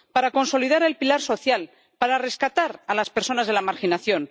para consolidar el pilar social, para rescatar a las personas de la marginación.